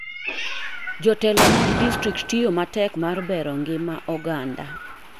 Jotelo mad distrikt tiyo matek mar bero ng'ma oganda.